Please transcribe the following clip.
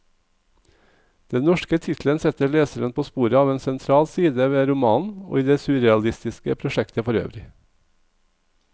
Den norske tittelen setter leseren på sporet av en sentral side ved romanen, og i det surrealistiske prosjektet forøvrig.